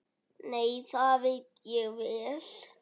Nei, það veit ég vel.